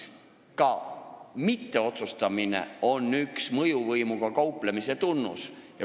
Ka mitteotsustamine on üks mõjuvõimuga kauplemise tunnuseid.